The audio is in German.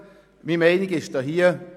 Meine Meinung dazu ist: